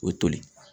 O toli